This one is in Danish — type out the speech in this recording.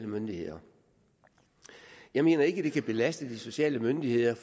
myndigheder jeg mener ikke at det kan belaste de sociale myndigheder